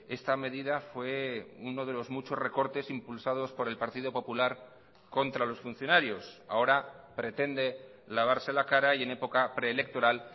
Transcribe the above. esta medida fue uno de los muchos recortes impulsados por el partido popular contra los funcionarios ahora pretende lavarse la cara y en época preelectoral